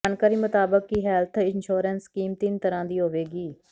ਜਾਣਕਾਰੀ ਮੁਤਾਬਿਕ ਕਿ ਹੇਲਥ ਇੰਸ਼ੋਰੈਂਸ ਸਕੀਮ ਤਿੰਨ ਤਰ੍ਹਾਂ ਦੀ ਹੋਵੇਗੀ